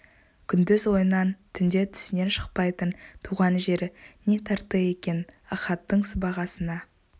күндіз ойынан түнде түсінен шықпайтын туған жері не тартты екен ахаттың сыбағасына